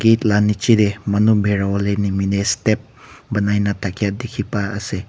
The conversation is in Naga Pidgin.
ed la niche teh manu bikrawole nimideh step banaina thake dikhi pa ase.